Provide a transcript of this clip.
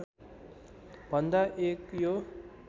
भन्दा एक हो